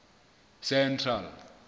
central